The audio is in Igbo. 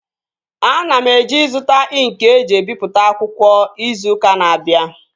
Ana m eje ịzụta ịnkị eji ebipụta akwụkwọ izu ụka na-abịa